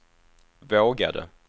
vågade